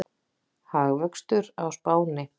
Hagvöxtur á Spáni